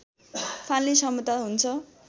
फाल्ने क्षमता हुन्छ